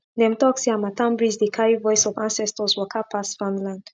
dem talk say harmattan breeze dey carry voice of ancestors waka pass farmland